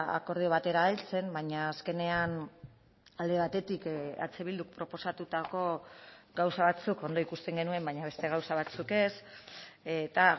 akordio batera heltzen baina azkenean alde batetik eh bilduk proposatutako gauza batzuk ondo ikusten genuen baina beste gauza batzuk ez eta